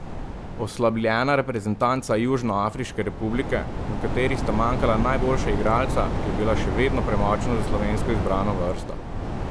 Oslabljena reprezentanca Južnoafriške republike, v kateri sta manjkala najboljša igralca, je bila še vedno premočna za slovensko izbrano vrsto.